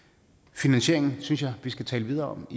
finansieringen synes jeg vi skal tale videre om